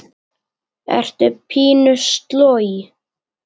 Ertu pínu sloj?